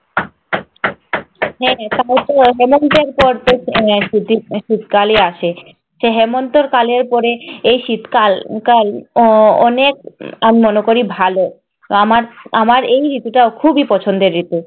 হ্যাঁ তারপরতো হেমন্তের পরতো আহ শীতকালই আসে। হেমন্তের কালের পর এই শীতকাল কাল উহ অনেক আমি মনে করি ভালো। আমার আমার এই ঋতুটা খুবই পছন্দের ঋতু।